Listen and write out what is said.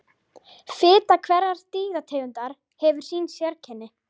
Fita hverrar dýrategundar hefur sín sérkenni.